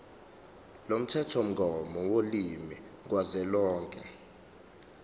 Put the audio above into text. lomthethomgomo wolimi kazwelonke